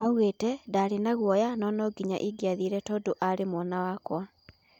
Augete,"Ndarĩ na guoya, nũ nũnginya ĩngĩathire tũndu arĩ mwana wakwa.